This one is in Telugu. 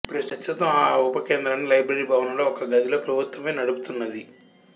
ప్రస్తుతం ఆ ఉపకేంద్రాన్ని లైబ్రరీ భవనంలో ఒక గదిలో ప్రభుత్వమే నడుపుతున్నది